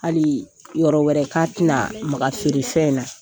Hali yɔrɔ wɛrɛ ka ti na maga feere fɛn in na.